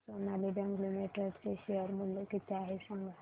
आज Sonali bank limited चे share मूल्य किती आहे सांगा